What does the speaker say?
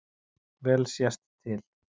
Vel sést til